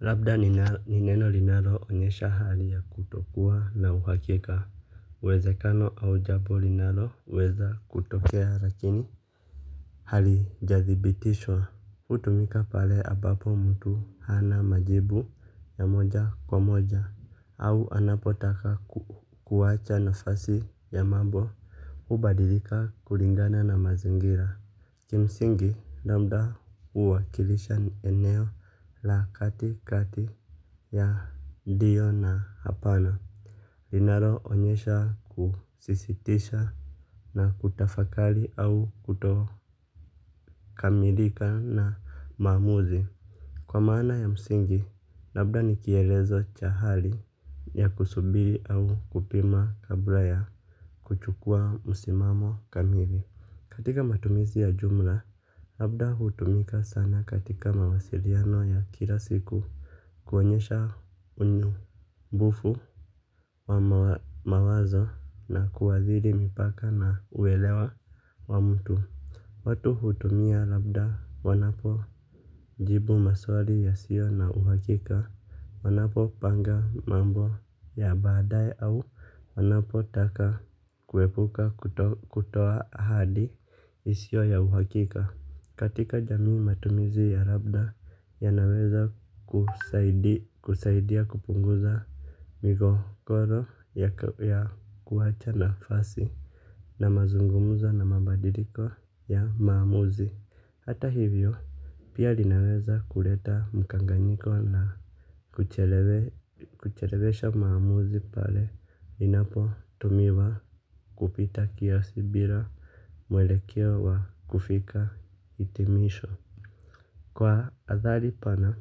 Labda nineno linalo onyesha hali ya kutokuwa na uhakika uwezekano au jambo linalo weza kutokea lakini hali jadhibitishwa. Utumika pale ambapo mtu hana majibu ya moja kwa moja au anapotaka kuwaacha na fasi ya mambo. Hubadilika kulingana na mazingira. Kimsingi lambda uwa kilisha ni eneo la kati kati. Ya ndio na hapana. Linalo onyesha kusisitisha. Na kutafakali au kutokamilika na maamuzi. Kwa maana ya msingi labda nikielezo chahali. Ya kusubiri au kupima kabla ya kuchukua msimamo kamili. Katika matumizi ya jumla labda hutumika sana katika mawasiriano ya kilasiku. Kuonyesha unyu mbufu wa mawazo na kuadhiri mipaka na uwelewa wa mtu. Watu hutumia labda wanapo jibu maswali ya sio na uhakika. Wanapo panga mambo ya baadae au wanapo taka kuepuka kutoa ahadi isio ya uhakika. Katika jamii matumizi ya labda ya naweza kusaidia kupunguza migogoro ya kuwacha na fasi. Na mazungumuza na mabadiliko ya maamuzi. Hata hivyo pia linaweza kuleta mkanganyiko na kuchelewesha maamuzi pale linapo tumiwa kupita kia. Si bila mwelekeo wa kufika itimisho. Kwa athari pana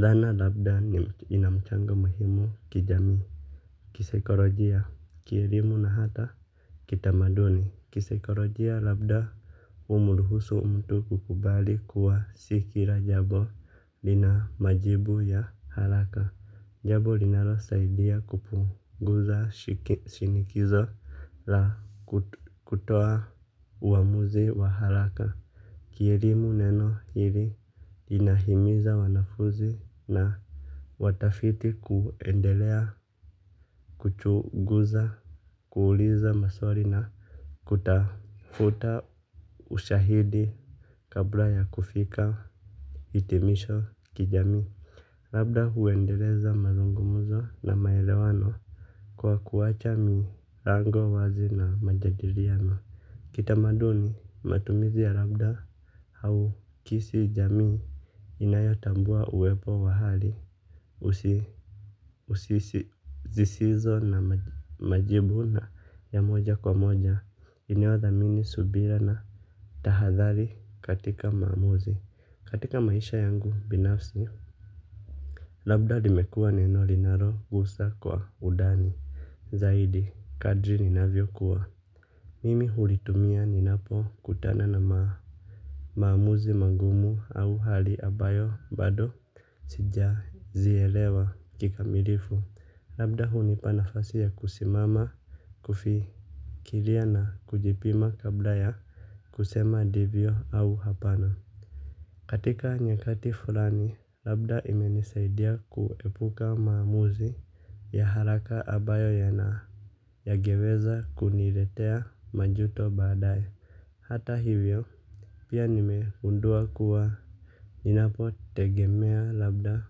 thana labda inamchanga muhimu kijamii. Kisaikorojia kielimu na hata Kitamaduni Kisaikorojia labda umuruhusu mtu kukubali kuwa sikira jambo. Linamajibu ya haraka jambo linalo saidia kupunguza shinikizo la kutoa uamuzi wa haraka. Kierimu neno hili inahimiza wanafuzi na watafiti kuendelea kuchuguza kuuliza maswari na kutafuta ushahidi kabla ya kufika itimisho kijamii. Labda huendeleza mazungumuzo na maelewano kwa kuwacha mii rango wazi na majadiriano. Kitamaduni matumizi ya labda au kisi jamii inayotambua uwepo wa hali usisi zisizo na majibu na ya moja kwa moja inayodhamini subira na tahadhali katika maamuzi katika maisha yangu binafsi. Labda limekua neno linaro gusa kwa udani zaidi kadri ninavyo kuwa mimi hulitumia ninapo kutana na maamuzi magumu au hali ambayo bado sija zielewa kikamilifu. Labda hunipanafasi ya kusimama kufi kilia na kujipima kabla ya kusema divyo au hapana. Katika nyakati fulani, labda imenisaidia kuepuka maamuzi ya haraka ambayo ya naa yangeweza kuniretea majuto badai. Hata hivyo, pia nimegundua kuwa ninapo tegemea labda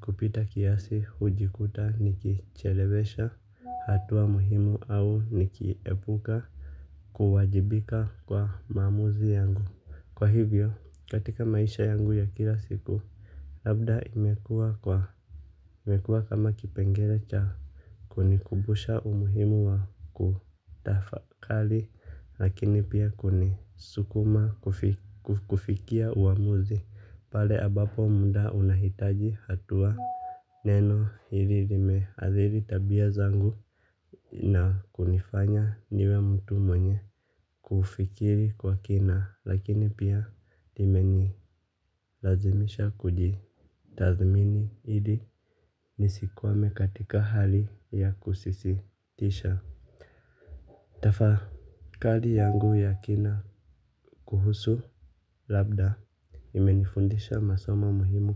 kupita kiasi hujikuta nikichelewesha hatua muhimu au nikiepuka kuwajibika kwa maamuzi yangu. Kwa hivyo, katika maisha yangu ya kila siku. Labda imekuwa kwa, imekua kama kipengele cha kunikumbusha umuhimu wa kutafakali. Lakini pia kunisukuma kufikia uamuzi. Pale abapo mda unahitaji hatua. Neno hili limeadhiri tabia zangu. Na kunifanya niwe mtu mwenye kufikiri kwa kina lakini pia limenilazimisha kuji tathmini ili nisikwame katika hali ya kusisitisha. Tafa kali yangu ya kina kuhusu labda imenifundisha masomo muhimu.